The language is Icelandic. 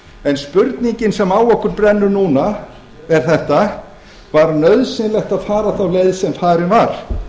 en spurningin sem á okkur brennur núna er þessi var nauðsynlegt að fara þá leið sem farin var